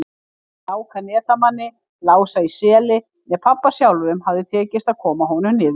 Hvorki Láka netamanni, Lása í Seli né pabba sjálfum hafði tekist að koma honum niður.